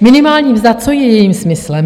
Minimální mzda, co je jejím smyslem?